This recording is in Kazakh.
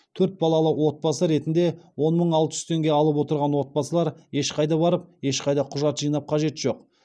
төрт балалы отбасы ретінде он мың алты жүз теңге алып отырған отбасылар ешқайда барып ешқайда құжат жинап қажет жоқ